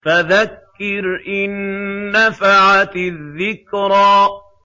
فَذَكِّرْ إِن نَّفَعَتِ الذِّكْرَىٰ